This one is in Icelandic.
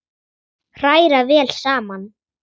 Hræra vel saman.